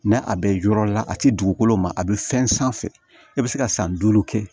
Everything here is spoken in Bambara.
N'a bɛ yɔrɔ la a ti dugukolo ma a bɛ fɛn sanfɛ e bɛ se ka san duuru kɛ